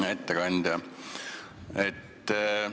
Hea ettekandja!